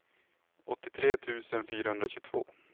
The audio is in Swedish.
åttiotre tusen fyrahundratjugotvå